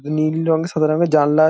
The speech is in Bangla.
নীল রং সাদা রঙের জানলা--